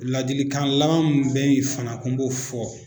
Ladilikan laban min bɛ yen fana ko n b'o fɔ